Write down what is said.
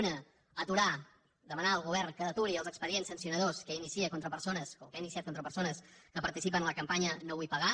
una aturar demanar al govern que aturi els expedients sancionadors que ha iniciat contra persones que participen a la campanya no vull pagar